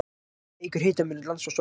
Það eykur hitamun lands og sjávar.